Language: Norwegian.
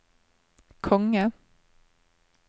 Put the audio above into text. konge